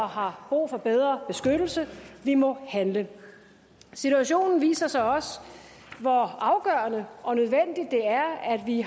har brug for bedre beskyttelse vi må handle situationen viser så også hvor afgørende og nødvendigt det er at vi